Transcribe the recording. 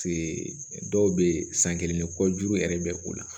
dɔw bɛ yen san kelen ni kɔ juru yɛrɛ bɛ o la